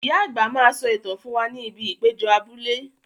Ìyá àgbà máa sọ ìtàn fún wa ní ibi ìpéjọ abúlé